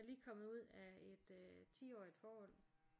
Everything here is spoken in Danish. Er lige kommet ud af et tiårigt forhold